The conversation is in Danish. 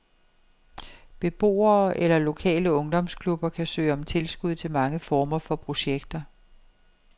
Beboere eller lokale ungdomsklubber kan søge om tilskud til mange former for projekter.